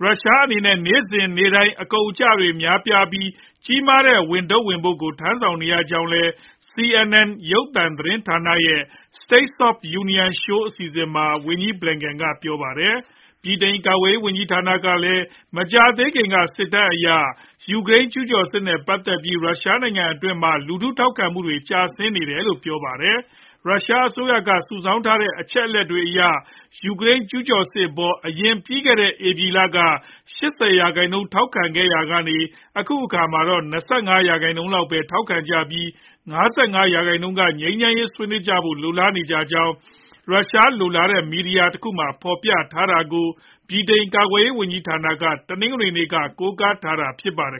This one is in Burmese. ရုရှားအနေနဲ့ နေ့စဉ်နေ့တိုင်း အကုန်အကျတွေ များပြားပြီး ကြီးမားတဲ့ ဝန်ထုပ်ဝန်ပိုးကို ထမ်းနေရကြောင်းလည်း CNN ရုပ်သံသတင်းဌာန ရဲ့ State of the Union Show အစီအစဉ်မှာ ဝန်ကြီး ဘလင်ကန်က ပြောပါတယ်။ ဗြိတိန် ကာကွယ်ရေး ဝန်ကြီးဌာနကလည်း မကြာသေးခင်က စစ်တမ်းအရ ယူကရိန်း ကျူးကျော်စစ်နဲ့ ပတ်သက်ပြီး ရုရှားနိုင်ငံတွင်းမှာ လူထုထောက်ခံမှုတွေဟာ ကျဆင်းနေတယ်လို့ ပြောဆိုပါတယ်။ ရုရှားအစိုးရက စုဆောင်းထားတဲ့ အချက်အလက်တွေအရ ယူကရိန်း ကျူးကျော်စစ်အပေါ် အရင် ပြီးခဲ့တဲ့ ဧပြီလက ၈ဝ ရာခိုင်နှုန်း ထောက်ခံခဲ့ရာကနေ အခုအခါမှာတော့ ၂၅ ရာခိုင်နှုန်းလောက်ပဲ ထောက်ခံကြပြီး ၅၅ ရာခိုင်နှုန်းက ငြိမ်းချမ်းရေးဆွေးနွေးးကြဖို့ လိုလားနေကြကြောင်း ရုရှား လွတ်လပ်တဲ့ မီဒီယာတခုမှာ ဖော်ပြထားတာကို ဗြိတိန် ကာကွယ်ရေးဝန်ကြီးဌာနက တနင်္ဂနွေနေ့က ကိုးကားထားတာဖြစ်ပါတယ်